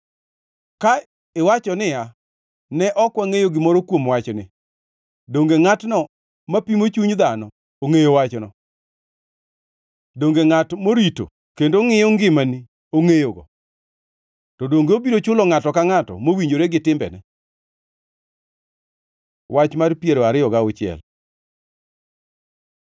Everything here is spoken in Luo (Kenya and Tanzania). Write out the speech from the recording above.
Ka iwacho niya, “Ne ok wangʼeyo gimoro kuom wachni,” donge ngʼatno mapimo chuny dhano ongʼeyo wachno? Donge ngʼat morito kendo ngʼiyo ngimani ongʼeyogo? To donge obiro chulo ngʼato ka ngʼato mowinjore gi timbene? Wach mar piero ariyo gauchiel